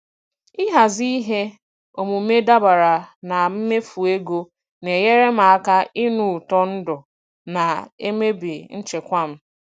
Ịhazi ihe omume dabara na mmefu ego na-enyere m aka ịnụ ụtọ ndụ na-emebi nchekwa m.